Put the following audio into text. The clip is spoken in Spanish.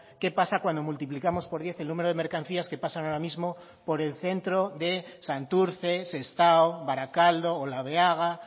qué pasa cuando multiplicamos por diez el número de mercancías que pasan ahora mismo por el centro de santurce sestao barakaldo olabeaga